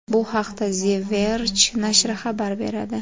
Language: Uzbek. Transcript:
Bu haqda The Verge nashri xabar beradi.